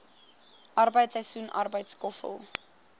arbeid seisoensarbeid skoffel